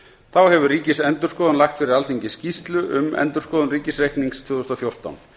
þá hefur ríkisendurskoðun lagt fyrir alþingi skýrslu um framkvæmd fjárlaga árið tvö þúsund og fjórtán